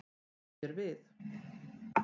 Sný mér við.